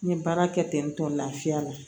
N ye baara kɛ ten tɔ lafiya la